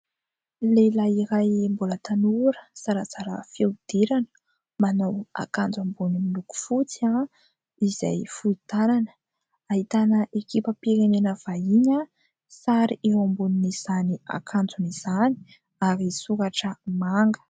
Lehilahy iray mbola tanora zarazara fihodirana, manao akanjo ambony miloko fotsy izay fohy tanana. Ahitana ekipam-pirenena vahiny, sary eo ambonin'izany akanjony izany ary soratra manga.